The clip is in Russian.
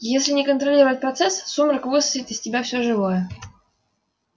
а если не контролировать процесс сумрак высосет из тебя все живое